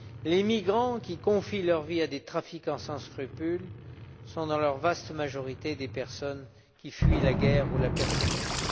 Les migrants qui confient leur vie à des trafiquants sans scrupules sont, dans leur vaste majorité, des personnes qui fuient la guerre ou la persécution.